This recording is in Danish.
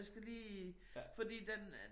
Jeg skal lige fordi den øh